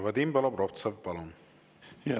Vadim Belobrovtsev, palun!